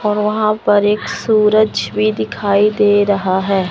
और वहां पर एक सूरज भी दिखाई दे रहा है।